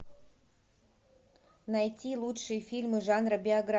найти лучшие фильмы жанра